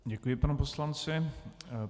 Děkuji panu poslanci.